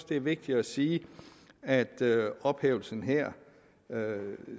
det er vigtigt at sige at ophævelsen her